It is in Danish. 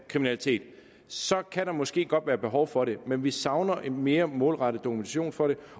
kriminalitet så kan der måske godt være behov for det men vi savner en mere målrettet dokumentation for